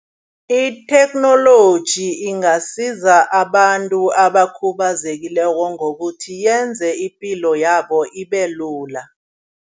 Itheknoloji ingasiza abantu abakhubazekileko ngokuthi yenze ipilo yabo ibelula.